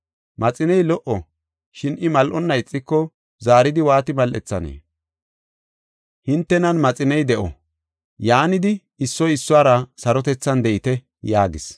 Maxiney lo77o, shin I mal7onna ixiko, zaaridi waati mal7ethanee? Hintenan maxiney de7o. Yaanidi, issoy issuwara sarotethan de7ite” yaagis.